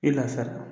I lafiyara